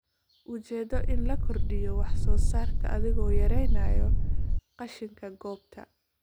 Ujeedo in la kordhiyo wax-soo-saarka adiga oo yareynaya qashinka goobta.